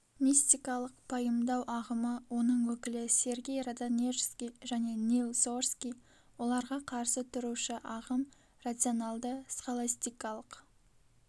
мистикалық пайымдау ағымы оның өкілі сергий родонежский және нил сорский оларға қарсы тұрушы ағым рационалды-схоластикалық